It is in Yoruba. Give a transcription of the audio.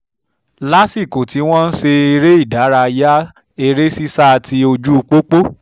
lásìkò tí à ń ṣeré ìdárayá eré sísá ti ojú pópó